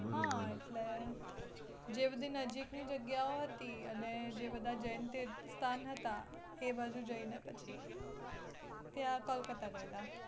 હા એટલે, જે બધી નજીક ની જગ્યાઓ હતી અને જે બધા હતા તે બાજુ જઈને પછી ત્યાં કોલકાતા ગયેલા